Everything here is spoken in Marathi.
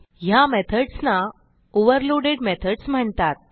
ह्या मेथडसना ओव्हरलोडेड मेथड्स म्हणतात